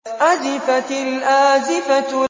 أَزِفَتِ الْآزِفَةُ